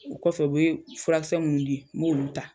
O kɔfɛ u bɛ furakisɛ minnu di n b'olu ta.